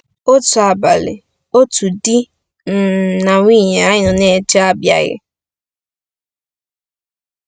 Otu abalị, otu di um na nwunye anyị nọ na-eche abịaghị.